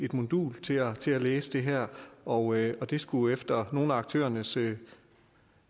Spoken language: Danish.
modul til at til at læse det her og det skulle efter nogle af aktørernes